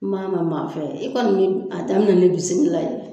N man mɛn maa fɛ e kɔni mi a daminɛ ni bisimilahi la.